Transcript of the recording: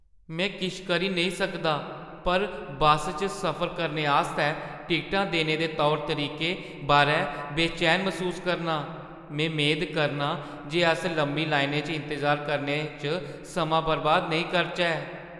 में किश करी नेईं सकदा पर बस्स च सफर करने आस्तै टिकटां देने दे तौर-तरीके बारै बेचैनी मसूस करनां; में मेद करनां जे अस लम्मी लाइनें च इंतजार करने च समां बर्बाद नेईं करचै।